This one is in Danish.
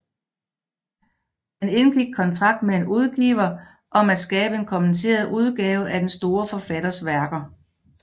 Han indgik kontrakt med en udgiver om at skabe en kommenteret udgave af den store forfatters værker